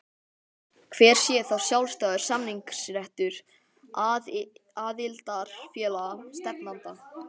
Hver sé þá sjálfstæður samningsréttur aðildarfélaga stefnanda?